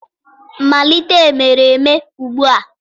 malite emereme ugbua!!